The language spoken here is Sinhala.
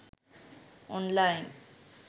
online